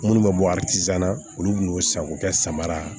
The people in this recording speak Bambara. Minnu bɛ bɔ na olu kun y'o san k'o kɛ samara ye